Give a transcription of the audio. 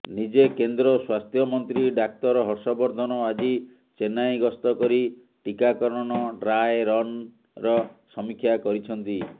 ନିଜେ କେନ୍ଦ୍ର ସ୍ୱାସ୍ଥ୍ୟମନ୍ତ୍ରୀ ଡାକ୍ତର ହର୍ଷବର୍ଦ୍ଧନ ଆଜି ଚେନ୍ନାଇ ଗସ୍ତ କରି ଟିକାକରଣ ଡ୍ରାଏ ରନ୍ର ସମୀକ୍ଷା କରିଛନ୍ତି